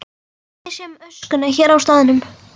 Ég sé um öskuna hér á staðnum.